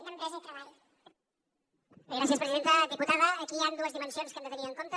diputada aquí hi han dues dimensions que hem de tenir en compte